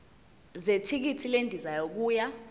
zethikithi lendiza yokuya